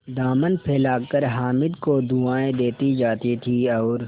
दामन फैलाकर हामिद को दुआएँ देती जाती थी और